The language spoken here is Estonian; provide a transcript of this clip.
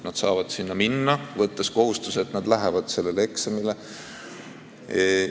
Nad saavad sinna minna, võttes kohustuse, et nad lähevad sellele eksamile.